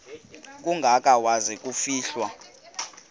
kangaka waza kufihlwa